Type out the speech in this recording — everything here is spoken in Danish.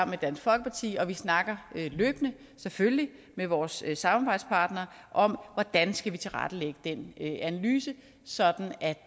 med dansk folkeparti og vi snakker selvfølgelig med vores samarbejdspartnere om hvordan vi skal tilrettelægge den analyse sådan at